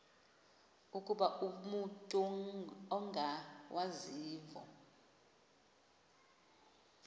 ukuba umut ongawazivo